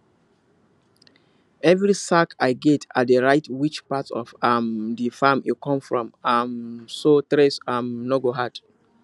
every sack i get i dey write which part of um the farm e come from um so trace um no go hard